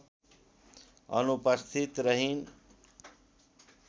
अनुपस्थित रहिन्